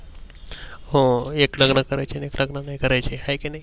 हो एक लग्नान कारायेचे, अन एक लग्न नाही करायेचे हाये कि नाही?